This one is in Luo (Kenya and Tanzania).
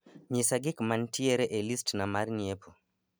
nyisa gik mantiere e list na mar nyiepo